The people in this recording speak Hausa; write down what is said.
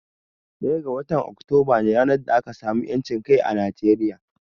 Ɗaya ga watan Oktoba ne ran da aka samu 'yancin kai a Nigeria.